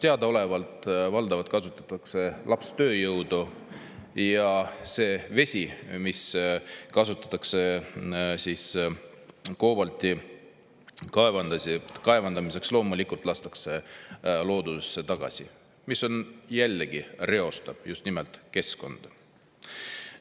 Teadaolevalt valdavalt kasutatakse lapstööjõudu ja see vesi, mis kasutatakse koobalti kaevandamiseks, loomulikult lastakse loodusesse tagasi, mis jällegi reostab just nimelt keskkonda.